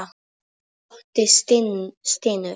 Doddi stynur.